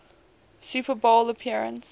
super bowl appearance